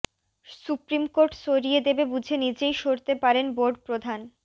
supreme court সরিয়ে দেবে বুঝে নিজেই সরতে পারেন বোর্ড প্রধান